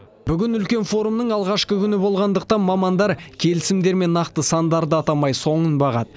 бүгін үлкен форумның алғашқы күні болғандықтан мамандар келісімдер мен нақты сандарды атамай соңын бағады